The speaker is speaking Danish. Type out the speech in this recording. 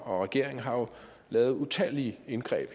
og regeringen har jo lavet utallige indgreb